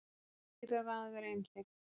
Dýrara að vera einhleyp